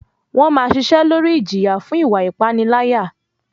Wọ́n máa ṣiṣẹ́ lórí ìjìyà fún ìwa ìpániláyà.